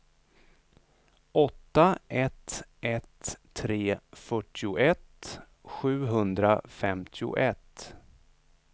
åtta ett ett tre fyrtioett sjuhundrafemtioett